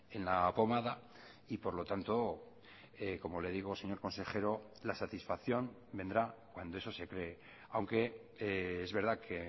en la pomada y por lo tanto como le digo señor consejero la satisfacción vendrá cuando eso se cree aunque es verdad que